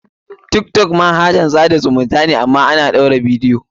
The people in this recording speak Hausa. Tiktok manahajan tsada zumunta ne amma ana ɗaura bidiyo.